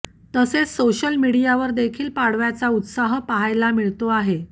तसेच सोशल मीडियावर देखील पाडव्याचा उत्साह पाहायला मिळतो आहे